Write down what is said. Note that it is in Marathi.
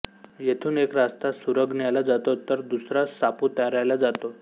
येथून एक रस्ता सुरगण्याला जातो तर दुसरा सापुतार्याला जातो